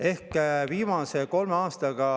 Ehk viimase kolme aastaga …